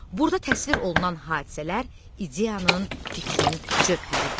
Burda təsvir olunan hadisələr ideyanın, fikrin cövhəridir.